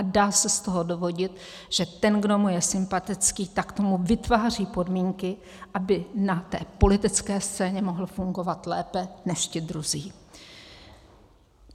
A dá se z toho dovodit, že ten, kdo mu je sympatický, tak tomu vytváří podmínky, aby na té politické scéně mohl fungovat lépe než ti druzí.